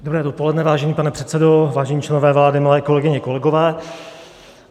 Dobré dopoledne, vážený pane předsedo, vážení členové vlády, milé kolegyně, kolegové.